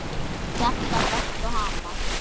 Hjartað berst og hamast.